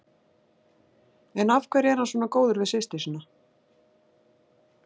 En af hverju er hann svona góður við systur sína?